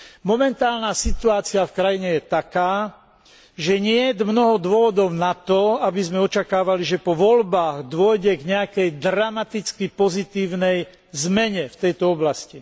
Momentálna situácia v krajine je taká, že niet mnoho dôvodov na to, aby sme očakávali, že po voľbách dôjde k nejakej dramaticky pozitívnej zmene v tejto oblasti.